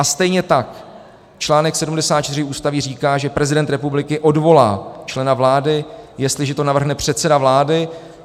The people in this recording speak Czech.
A stejně tak článek 74 Ústavy říká, že prezident republiky odvolá člena vlády, jestliže to navrhne předseda vlády.